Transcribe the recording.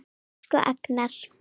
Elsku Agnar.